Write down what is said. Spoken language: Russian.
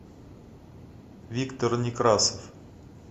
виктор некрасов